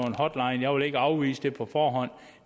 en hotline jeg vil ikke afvise det på forhånd